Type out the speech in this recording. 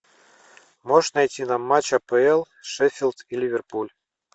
можешь найти нам матч апл шеффилд и ливерпуль